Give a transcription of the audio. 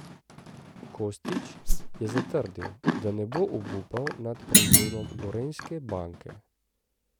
Kostić je še zatrdil, da ne bo obupal nad prevzemom Gorenjske banke.